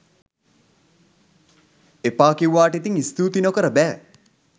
එපා කිව්වාට ඉතින් ස්තූති නොකර බෑ